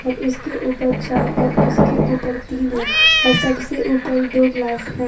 और उसके ऊपर चार और उसके ऊपर तीन है और सबसे ऊपर दो गिलास है।